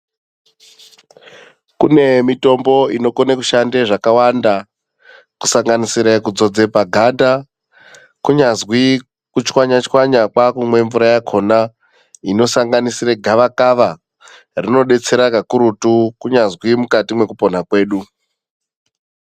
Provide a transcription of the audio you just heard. Kune mitombo inogone kushande zvakawanda kusanganisira kuzodze paganda kunyanwi kutswanya-tswanya kwakumwe mvura yakona inosanganisire gavakava rinobetsera kakurutu kunyazwi mukati mekupona kwedu.